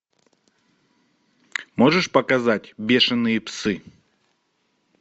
можешь показать бешеные псы